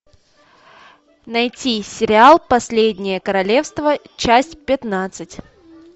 найти сериал последнее королевство часть пятнадцать